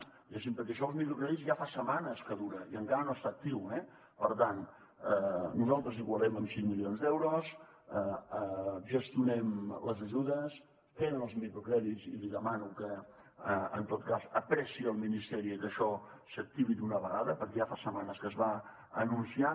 diguéssim perquè això dels microcrèdits ja fa setmanes que dura i encara no està actiu eh per tant nosaltres ho igualem amb cinc milions d’euros gestionem les ajudes queden els microcrèdits i li demano que en tot cas apressi el ministeri que això s’activi d’una vegada perquè ja fa setmanes que es va anunciar